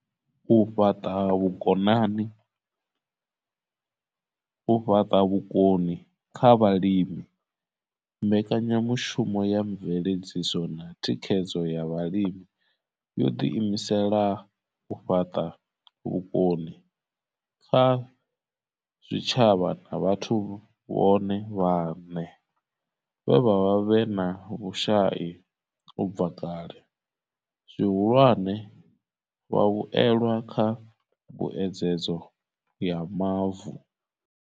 U fhaṱa vhukoni kha vhalimi mbekanyamushumo ya mveledziso na thikhedzo ya Vhalimi yo ḓi imisela u fhaṱa vhukoni kha zwitshavha na vhathu vhone vhaṋe vhe vha vha vhe na vhushai u bva kale, zwihulwane, vhavhuelwa kha mbuedzedzo ya mavu.